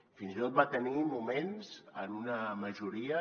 fins i tot va tenir moments en una majoria